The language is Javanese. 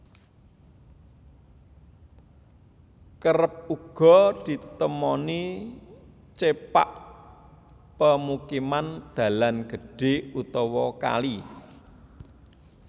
Kerep uga ditemoni cepak pemukiman dalan gedhé utawa kali